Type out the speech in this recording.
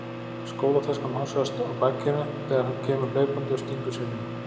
Skólataskan hossast á bakinu þegar hann kemur hlaupandi og stingur sér inn.